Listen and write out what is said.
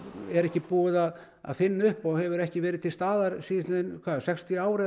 er ekki búið að finna upp og hefur ekki verið til staðar síðastliðinn sextíu ár